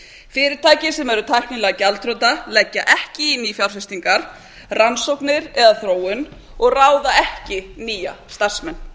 fyrirtæki sem eru tæknilega gjaldþrota leggja ekki í nýfjárfestingar rannsóknir eða þróun og ráða ekki nýja starfsmenn